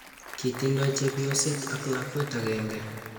kitindoi chepyoset ak lakwet akenge